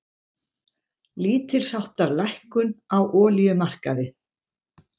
Lítilsháttar lækkun á olíumarkaði